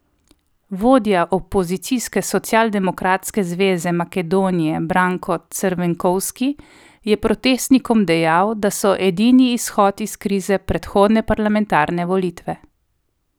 Vodja opozicijske Socialdemokratske zveze Makedonije Branko Crvenkovski je protestnikom dejal, da so edini izhod iz krize predhodne parlamentarne volitve.